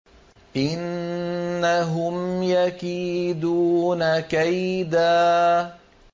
إِنَّهُمْ يَكِيدُونَ كَيْدًا